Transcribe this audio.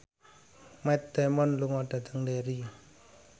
Matt Damon lunga dhateng Derry